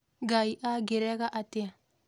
Ngai angĩrega atĩa